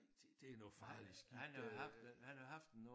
Nej det det noget farligt skidt øh